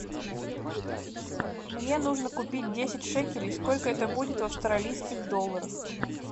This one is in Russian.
мне нужно купить десять шекелей сколько это будет в австралийских долларах